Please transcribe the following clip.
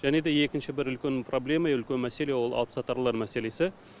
және де екінші бір үлкен проблема үлкен мәселе ол алыпсатарлар мәселесі